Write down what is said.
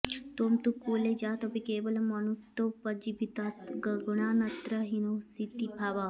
त्वं तु कुले जातोपि केवलं अनृतोपजीवित्वात् गुणानत्रहीनोऽसीति भावः